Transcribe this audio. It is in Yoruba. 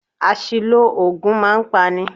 Àṣìlò oògùn a máa pa ni.